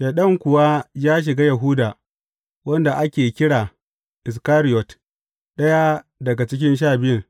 Shaiɗan kuwa ya shiga Yahuda, wanda ake kira Iskariyot, ɗaya daga cikin Sha Biyun.